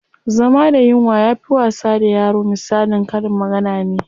Zama da yunwa yafi wasa da yaro misalin karin magana ne.